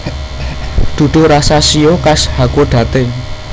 Duduh rasa shio khas Hakodate